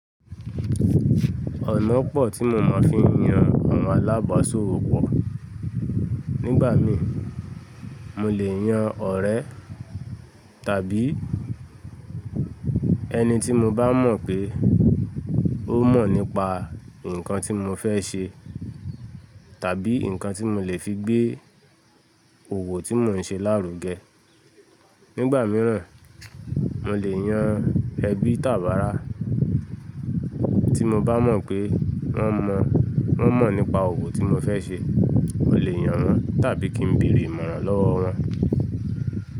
Ọ̀nà pọ̀ tí mo máa ń fi yan àwọn alábàásó wò pọ̀. Nígbà mí, mo lè yan ọ̀rẹ́ tàbí ẹni tí mo bá mọ̀ pé ó mọ̀ nípa nǹkan tí mo fẹ́ ṣe tàbí nǹkan tí mo lè fi gbé òwò tí mo n ṣe lárugẹ. Nígbà mìíràn, mo lè yan ẹbí tàbí àra tí mo bá mọ̀ pé wọ́n mọ̀ nípa òwò tí mo fẹ́ ṣe. Mo lè yan wọn tàbí kí n bèrè ìmọ̀ràn lọ́wọ́ wọn.